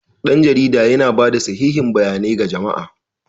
Dan jarida yana ba da sahihiyan bayanai ga jama'a.